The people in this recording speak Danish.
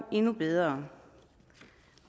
bedre